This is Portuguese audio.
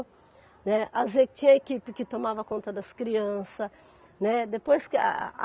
Né. As equi, tinha equipe que tomava conta das crianças, né, depois que a a.